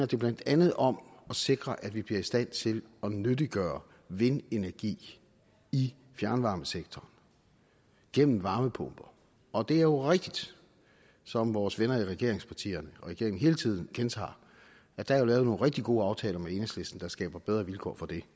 det blandt andet om at sikre at vi bliver i stand til at nyttiggøre vindenergi i fjernvarmesektoren gennem varmepumper og det er jo rigtigt som vores venner i regeringspartierne og regeringen hele tiden gentager at der er lavet nogle rigtig gode aftaler med enhedslisten der skaber bedre vilkår for det